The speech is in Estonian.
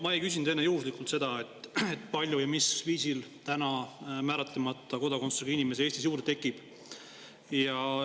Ma ei küsinud enne juhuslikult seda, kui palju ja mis viisil Eestis määratlemata kodakondsusega inimesi juurde tekib.